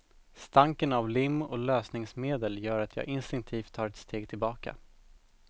Stanken av lim och lösningsmedel gör att jag instinktivt tar ett steg tillbaka.